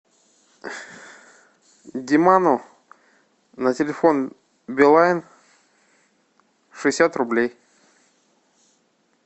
диману на телефон билайн шестьдесят рублей